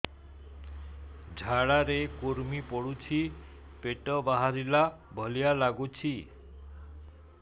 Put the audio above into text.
ଝାଡା ରେ କୁର୍ମି ପଡୁଛି ପେଟ ବାହାରିଲା ଭଳିଆ ଲାଗୁଚି